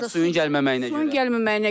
Harda suyun gəlməməyinə görə.